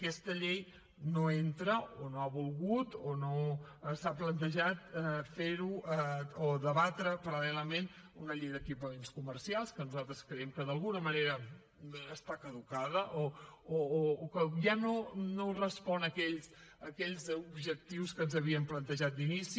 aquesta llei no entra o no ha volgut o no s’ha plantejat fer ho a debatre paral·lelament una llei d’equipaments comercials que nosaltres creiem que d’alguna manera està caducada o que ja no respon a aquells objectius que ens havíem plantejat d’inici